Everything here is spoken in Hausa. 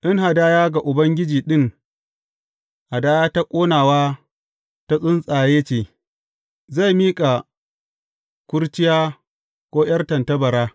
In hadaya ga Ubangiji ɗin, hadaya ta ƙonawa ta tsuntsaye ce, zai miƙa kurciya ko ’yar tattabara.